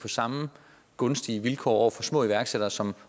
samme gunstige vilkår til små iværksættere som